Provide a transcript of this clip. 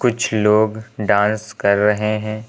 कुछ लोग डांस कर रहे है।